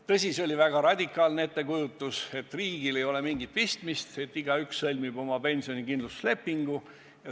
Tõsi, see oli väga radikaalne ettekujutus, et riigil ei ole asjaga mingit pistmist, igaüks sõlmib oma pensionikindlustuslepingu.